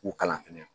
K'u kalan fɛnɛ